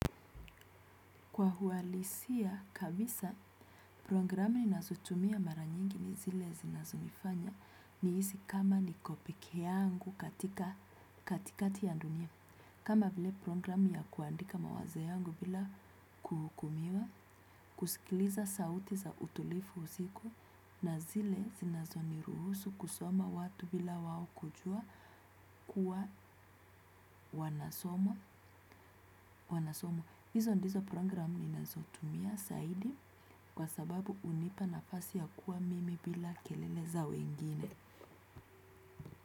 Kwa uhalisia kabisa, programu ninazotumia mara nyingi ni zile zinazonifanya nihisi kama niko pekee yangu katika katikati ya dunia. Kama vile programu ya kuandika mawazo yangu bila kuhukumiwa, kuskiliza sauti za utulifu usiku na zile zinazo ni ruhusu kusoma watu bila wao kujua kuwa wanasomwa. Wanasomwa. Hizo ndizo programu nina zotumia zaidi kwa sababu unipa na fasi ya kuwa mimi bila keleleza wengine.